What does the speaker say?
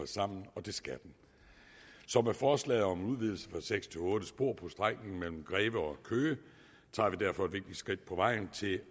sammen og det skal den så med forslaget om udvidelse fra seks til otte spor på strækningen mellem greve og køge tager vi derfor et skridt på vejen til